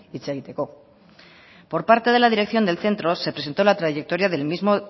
hitz egiteko por parte de la dirección del centro se presentó la trayectoria del mismo